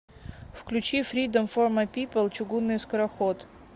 включи фридом фор май пипл чугунный скороход